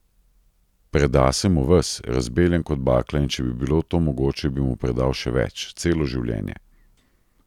Preda se mu ves, razbeljen kot bakla, in če bi bilo to mogoče, bi mu predal še več, celo življenje.